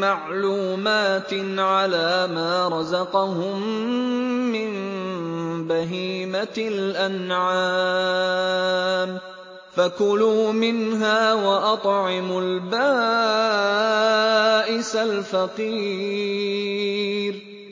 مَّعْلُومَاتٍ عَلَىٰ مَا رَزَقَهُم مِّن بَهِيمَةِ الْأَنْعَامِ ۖ فَكُلُوا مِنْهَا وَأَطْعِمُوا الْبَائِسَ الْفَقِيرَ